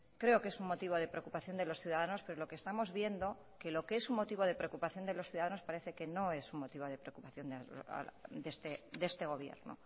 creo que es un motivo de preocupación de los ciudadanos pero lo que estamos viendo que lo que es un motivo de preocupación de los ciudadanos parece que no es un motivo de preocupación de este gobierno